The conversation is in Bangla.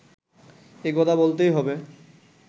এ কথা বলতেই হবে